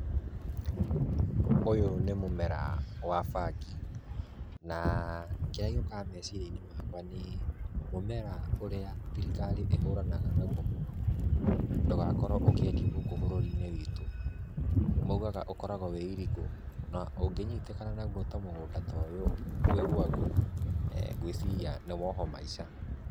Ũyũ nĩ mũmera wa bangi na kĩrĩa gĩukaga meciria-inĩ makwa nĩ mũmera ũrĩa thirikari ĩhuranaga naguo mũno ndũgakorwo ũkĩendio bũrũri-inĩ witũ. Maugaga ũkoragwo wĩ illegal, na ũngĩnyitĩkana naguo ta mũgũnda ta ũyũ wĩ gwaku, ngwĩciria nĩ wohũo maica.